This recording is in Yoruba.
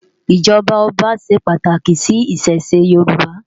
ijọba ọba ṣé pàtáki si Ìṣẹ̀ṣe Yoruba